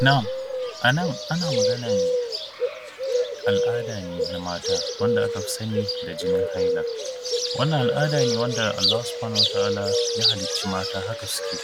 Na’am, a nan ana maganan al’ada ne na mata, wanda aka fi sani da jinin haila. Wannan al’ada ne wanda Allahu Subhanahu wa Ta’ala ya halicci mata, haka suke.